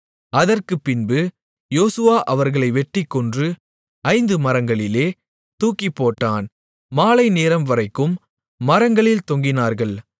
அதற்குப்பின்பு யோசுவா அவர்களை வெட்டிக் கொன்று ஐந்து மரங்களிலே தூக்கிப்போட்டான் மாலைநேரம்வரைக்கும் மரங்களில் தொங்கினார்கள்